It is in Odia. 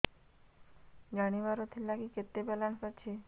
ଜାଣିବାର ଥିଲା କି କେତେ ବାଲାନ୍ସ ଅଛି